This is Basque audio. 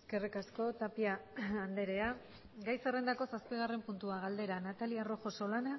eskerrik asko tapia andrea gai zerrendako zazpigarren puntua galdera natalia rojo solana